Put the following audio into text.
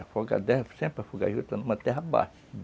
terra baixa.